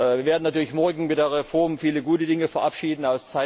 Wir werden natürlich morgen mit der Reform viele gute Dinge verabschieden.